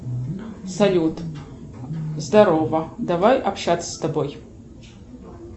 салют здорово давай общаться с тобой